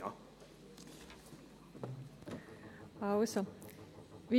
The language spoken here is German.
Kommissionssprecherin der SAK.